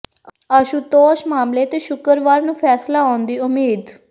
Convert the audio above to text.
ਆਸ਼ੂਤੋਸ਼ ਮਾਮਲੇ ਤੇ ਸ਼ੁੱਕਰਵਾਰ ਨੂੰ ਫੈਸਲਾ ਆਉਣ ਦੀ ਉਮੀਦ